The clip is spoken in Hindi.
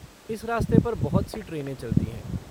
इस रास्ते पर बहुत सी ट्रेनें चलती हैं।